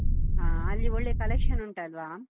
ಹಾ ಅಲ್ಲಿ ಒಳ್ಳೆ collection ಉಂಟಲ್ವಾ?